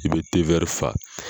I bɛ te wɛrɛ fa